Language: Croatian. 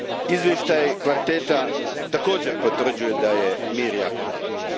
Izvještaj kvarteta također potvrđuje da je mir još jako daleko.